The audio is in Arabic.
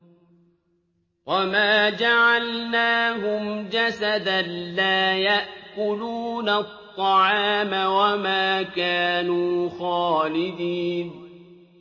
وَمَا جَعَلْنَاهُمْ جَسَدًا لَّا يَأْكُلُونَ الطَّعَامَ وَمَا كَانُوا خَالِدِينَ